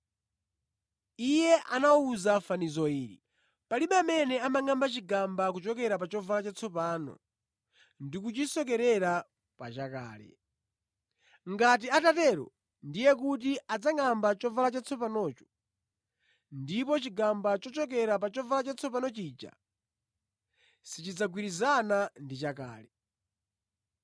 Iye anawawuza fanizo ili: “Palibe amene amangʼamba chigamba kuchokera pa chovala chatsopano ndi kuchisokerera pa chakale. Ngati atatero, ndiye kuti adzangʼamba chovala chatsopanocho, ndipo chigamba chochokera pa chovala chatsopano chija sichidzagwirizana ndi chakale.